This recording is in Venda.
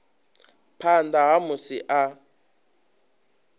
phanḓa ha musi muthu a